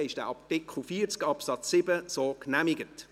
Damit ist Artikel 40 Absatz 7 so genehmigt.